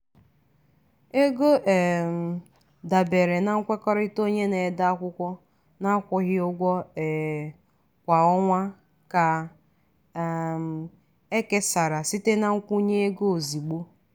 ego um dabere na nkwekọrịta onye na-ede akwụkwọ na-akwụghị ụgwọ um kwa ọnwa ka um ekesara site na nkwụnye ego ozugbo.